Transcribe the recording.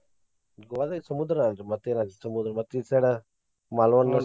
Goa ದಾಗ ಸಮುದ್ರಾ ಅಲ್ರಿ ಮತ್ತೇನ್ ಅಲ್ಲಿ ಸಮುದ್ರ ಈ side .